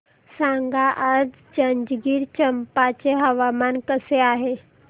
सांगा आज जंजगिरचंपा चे हवामान कसे आहे